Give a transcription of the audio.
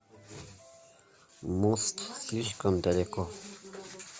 мост слишком далеко